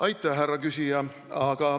Aitäh, härra küsija!